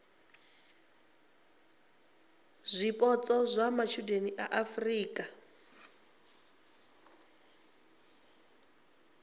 zwipotso zwa matshudeni a afurika